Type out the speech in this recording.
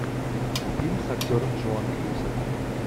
фильм с актером джоан кьюсак